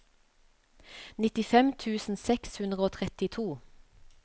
nittifem tusen seks hundre og trettito